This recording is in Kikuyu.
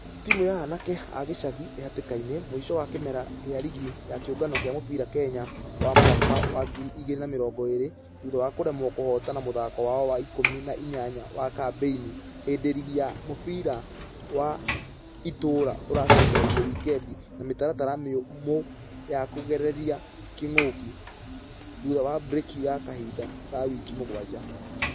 Timũ ya anake agicagi ĩhatĩkainĩ .....mũisho wa kĩmera gĩa rigi ya kĩũngano gĩa mũbira kenya wa mwaka wa ngiri igĩrĩ na mĩrongo ĩrĩ. Thutha wa kũremwo kũhotana mũthako wao wa ikũmi na inya wa kambeini hĩndĩ rigi ya mũbira wa itũra ũracokereirie wikendi na mĩtaratara mĩũmu ya kũgirereria kĩng'uki. Thutha wa breki ya kahinda ga wiki mũgwaja.